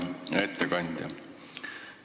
Hea ettekandja!